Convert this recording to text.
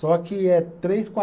Só que é três, qua